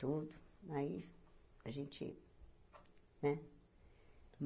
Tudo, aí a gente, né?